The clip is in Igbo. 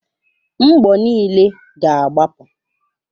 Mgbọ niile ga agbapụ.